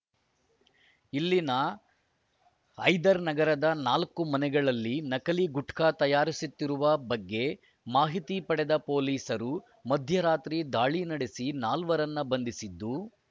ಇಲ್ಲಿನ ಹೈದರ್‌ ನಗರದ ನಾಲ್ಕು ಮನೆಗಳಲ್ಲಿ ನಕಲಿ ಗುಟ್ಕಾ ತಯಾರಿಸುತ್ತಿರುವ ಬಗ್ಗೆ ಮಾಹಿತಿ ಪಡೆದ ಪೊಲೀಸರು ಮಧ್ಯರಾತ್ರಿ ದಾಳಿ ನಡೆಸಿ ನಾಲ್ವರನ್ನು ಬಂಧಿಸಿದ್ದು